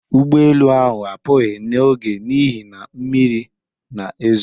Ụgbọelu ahụ apụghị n'oge n'ihi na mmiri na-ezo